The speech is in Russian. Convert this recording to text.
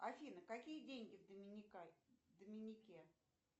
афина какие деньги в доминике